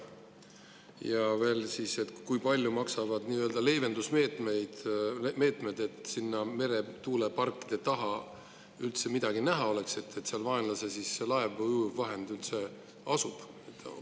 Ja veel, kui palju maksavad leevendusmeetmed, et sinna meretuuleparkide taha oleks üldse midagi näha ja saaks teada, kas seal asub vaenlase laev või ujuvvahend?